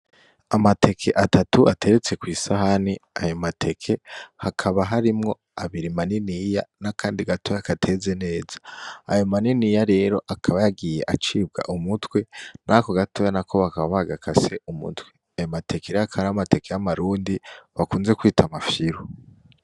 Amateke atatu ateretse kw'isahani aya mateke hakaba harimwo abiri maniniya nakandi gatoya kateze neza aya maniniya rero akaba yagiye acibwa umutwe nako gatoya na ko bakaba bagakase umutwe ayo mateke rero akabari amateke yamarundi bakunze kwita amafyiru.